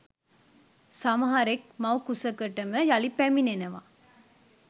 සමහරෙක් මව් කුසකටම යළි පැමිණෙනවා